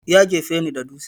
Ya jefe ni da dutse